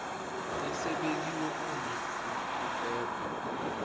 esibekiwe uma kubhekwa